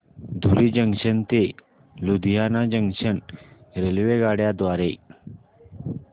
धुरी junction ते Ludhiana junction रेल्वेगाड्यां द्वारे